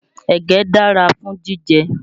Ẹ̀gẹ́ dára fún jíjẹ